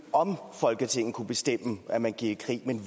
om folketinget kunne bestemme at man gik i krig men